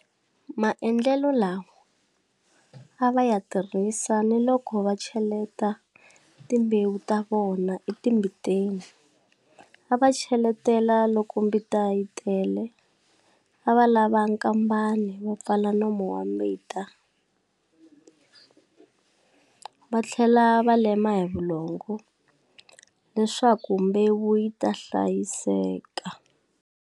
Maendlelo lawa a va ya tirhisa ni loko va cheletele timbewu ta vona etimbiteni, a va cheletela loko mbita yi tele, a va lava nkambani va pfala nomo wa mbita va tlhela va lema hi vulongo leswaku mbewu yi ta hlayiseka.